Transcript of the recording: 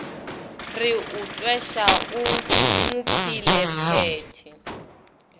re o tweša o mophelephethe